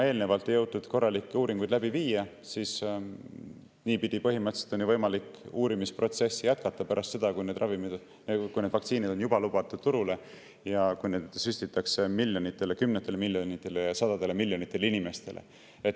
Eelnevalt ju ei jõutud korralikke uuringuid läbi viia ja niipidi on põhimõtteliselt võimalik uurimisprotsessi jätkata pärast seda, kui need vaktsiinid on juba lubatud turule ja neid süstitakse miljonitele, kümnetele miljonitele, sadadele miljonitele inimestele.